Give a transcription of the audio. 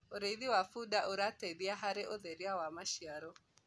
ũrĩithi wa bunda urateithia harĩ ũtheria wa maciaro